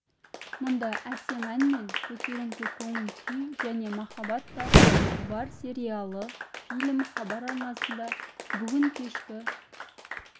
мұнда әсем ән мен көтеріңкі көңіл-күй және махаббат та бар сериялы фильм хабар арнасында бүгін кешкі